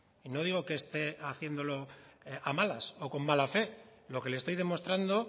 y no digo que esté haciéndolo a malas o con mala fe lo que le estoy demostrando